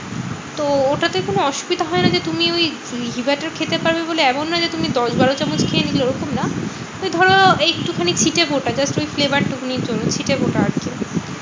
তো ওটাতে কোনো অসুবিধা হয়না যে, তুমি ওই ঘি butter খেতে পারবে বলে এমন নয় যে তুমি দশ বারো চামচ খেয়ে নিলে ওরকম না। ওই ধরো এই একটুখানি ছিটেফোঁটা just ওই flavor টুকুনির জন্য ছিটেফোঁটা আরকি।